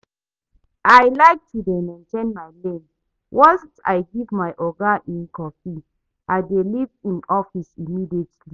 I like to dey maintain my lane, once I give my oga im coffee I dey leave im office immediately